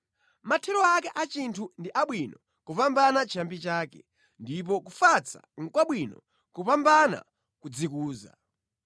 Mathero ake a chinthu ndi abwino kupambana chiyambi chake, ndipo kufatsa nʼkwabwino kupambana kudzikuza.